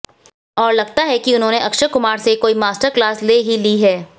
और लगता है कि उन्होंने अक्षय कुमार से कोई मास्टरक्लास ले ही ली है